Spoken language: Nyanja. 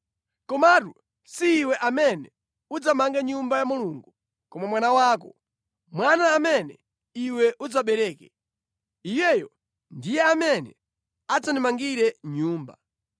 Komatu, si iwe amene udzamanga Nyumba ya Mulungu, koma mwana wako, mwana amene iwe udzabereke. Iyeyo ndiye adzandimangire Nyumba.’